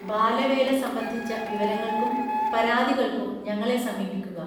ബാലവേല സംബന്ധിച്ച വിവരങ്ങൾക്കും പരാതികൾക്കും ഞങ്ങളെ സമീപിക്കുക